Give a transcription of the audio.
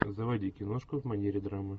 заводи киношку в манере драмы